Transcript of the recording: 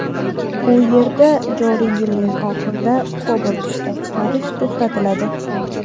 U yerda joriy yilning oxirida Cobalt ishlab chiqarish to‘xtatiladi.